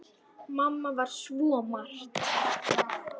Mamma var svo margt.